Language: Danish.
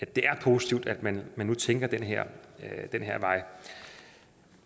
det er positivt at man nu tænker ad den her vej